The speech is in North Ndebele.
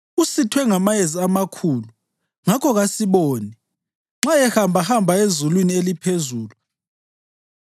Usithwe ngamayezi amakhulu, ngakho kasiboni nxa ehambahamba ezulwini eliphezulu.’